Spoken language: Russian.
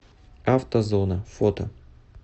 автозона фото